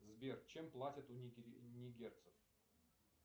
сбер чем платят у нигерцев